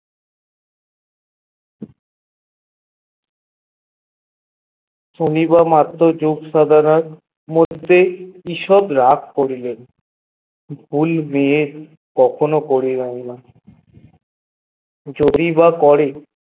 শনি বার মাত্র যোগ সাধারণ কি সব রাগ করিলেন য ভুল হয়ে কখনো করিবার না যদি বা করে